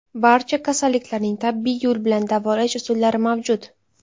Barcha kasalliklarning tabiiy yo‘l bilan davolash usullari mavjud.